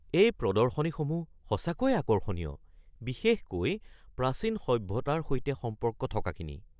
এই প্ৰদৰ্শনীসমূহ সঁচাকৈয়ে আকৰ্ষণীয়, বিশেষকৈ প্ৰাচীন সভ্যতাৰ সৈতে সম্পৰ্ক থকাখিনি।